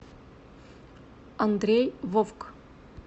андрей вовк